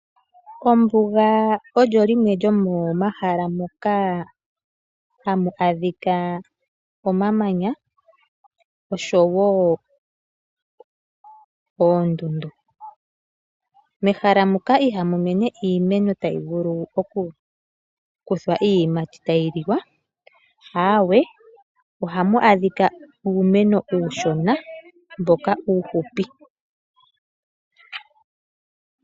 Ombuga olyo limwe lyomomahala moka hamu adhika omamanya oshowo oondundu. Mehala muka ihamu mene iimeno tayi vulu oku kuthwa iiyimati tayi liwa .ohamu adhika uumeno uushona mboka uuhupi.